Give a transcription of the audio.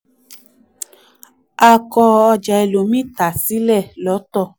a kọ ọjà ẹlòmíì tà sílẹ̀ lọ́tọ̀.